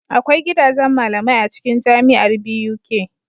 Akwai gidajan malamai acikin jamiar Buk